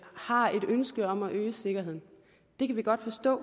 har et ønske om at øge sikkerheden det kan vi godt forstå